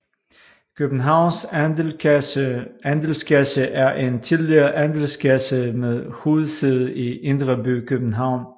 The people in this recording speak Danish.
Københavns Andelskasse er en tidligere andelskasse med hovedsæde i indre by København